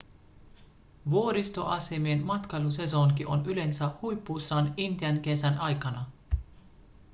vuoristoasemien matkailusesonki on yleensä huipussaan intian kesän aikana